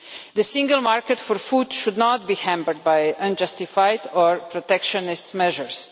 The single market for food should not be hampered by unjustified or protectionist measures.